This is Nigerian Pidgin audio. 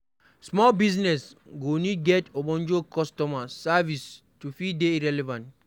Small business go need to get ogbonge customer service to fit dey relevant